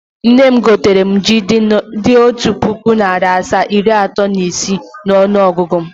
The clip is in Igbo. Nne m gotere m ji dị otu puku, narị asaa, iri atọ na ise n’ọnụọgụgụ.